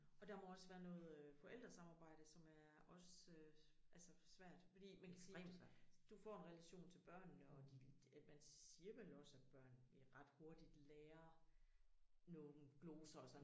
Og der må også være noget øh forældresamarbejde som er også øh altså svært fordi man kan sige du får en relation til børnene og de at man siger vel også at børn ret hurtigt lærer nogle gloser og sådan